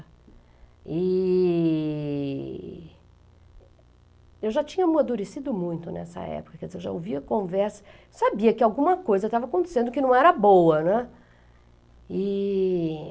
E... Eu já tinha amadurecido muito nessa época, quer dizer, eu já ouvia conversas, sabia que alguma coisa estava acontecendo que não era boa, né? E...